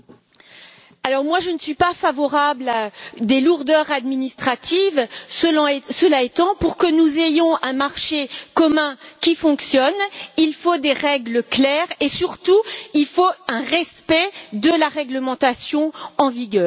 Monsieur le Président, je ne suis pas favorable à des lourdeurs administratives. Cela étant, pour que nous ayons un marché commun qui fonctionne, il faut des règles claires et, surtout, il faut un respect de la réglementation en vigueur.